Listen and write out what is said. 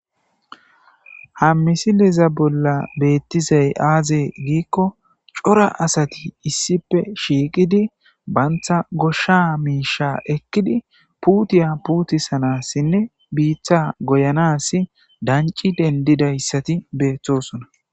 ha misileza bolla beettizay aaze giikko cora asati issipe shiiqidi banta goshsha miisha ekkidi puutiya puuti sanassinne biitha goyanas danci dendidayssati beethtosona